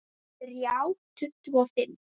Þrjá tuttugu og fimm!